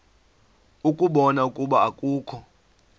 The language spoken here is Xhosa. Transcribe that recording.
ukubona ukuba akukho